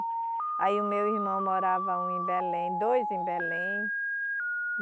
Aí o meu irmão morava um em Belém, dois em Belém.